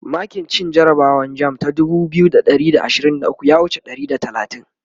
makin cin jarabawan jamb shekara ta dubu biyu da ashirin da ukwu ya wuce ɗari da talatin